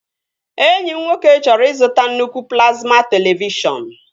Enyi m nwoke chọrọ ịzụta nnukwu plazma televishọn